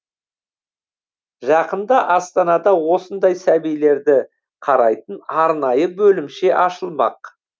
жақында астанада осындай сәбилерді қарайтын арнайы бөлімше ашылмақ